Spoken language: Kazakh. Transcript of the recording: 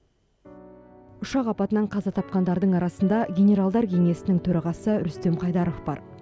ұшақ апатынан қаза тапқандардың арасында генералдар кеңесінің төрағасы рүстем қайдаров бар